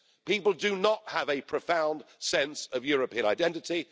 People do not have a profound sense of European identity.